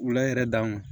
Wula yɛrɛ danun